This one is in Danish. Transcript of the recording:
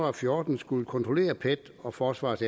og fjorten skullet kontrollere pets og forsvarets